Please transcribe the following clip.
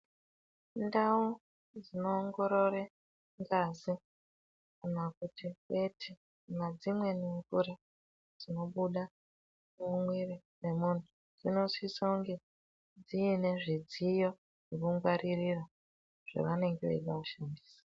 Ndau dzinoongorore ngazi, kana kuti edzi kana dzimweni mvura dzinobuda mumwiri mwemuntu ,dzinosisounge dziine zvidziyo zvinongwaririra, zvavanenge veida kushandisa.